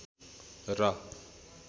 र